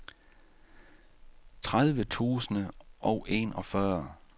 tredive tusind og enogfyrre